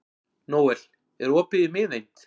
Nóel, er opið í Miðeind?